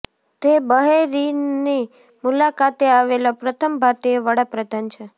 તે બહેરીનની મુલાકાતે આવેલા પ્રથમ ભારતીય વડા પ્રધાન છે